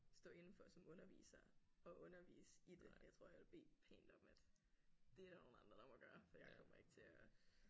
Stå indenfor som underviser at undervise i det jeg tror jeg ville bede pænt om at det er der nogle andre der må gøre for jeg kommer ikke til at